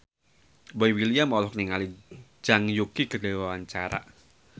Boy William olohok ningali Zhang Yuqi keur diwawancara